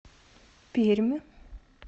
пермь